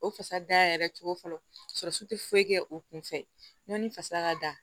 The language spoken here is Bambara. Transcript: O fasa dayɛrɛ cogo fɔlɔ tɛ foyi kɛ o kun fɛ ɲɔn ni fasa ka da